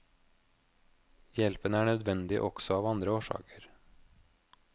Hjelpen er nødvendig også av andre årsaker.